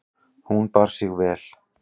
Hún bar sig vel.